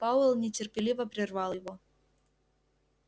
пауэлл нетерпеливо прервал его